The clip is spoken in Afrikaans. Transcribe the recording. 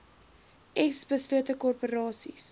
s beslote korporasies